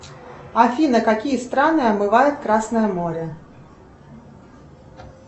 афина какие страны омывает красное море